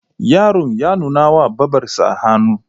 Yaron ya nuna wa Babarsa hannu.